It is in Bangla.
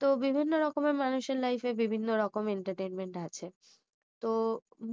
তো বিভিন্ন রকমের মানুষের life এ বিভিন্ন রকম entertainment আছে তো